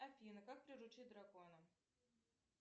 афина как приручить дракона